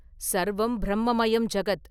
சர்வம் பிரம்மமயம் ஜகத்.